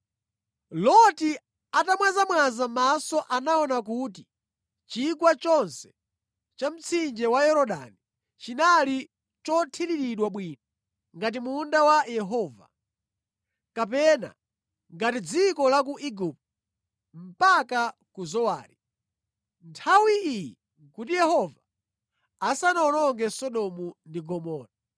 Loti atamwazamwaza maso anaona kuti chigwa chonse cha mtsinje wa Yorodani chinali chothiriridwa bwino ngati munda wa Yehova, kapena ngati dziko la ku Igupto mpaka ku Zowari. (Nthawi iyi nʼkuti Yehova asanawononge Sodomu ndi Gomora).